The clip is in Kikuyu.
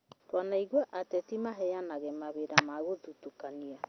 twanaigua ateti maheanaga mawĩra na gũthitũkania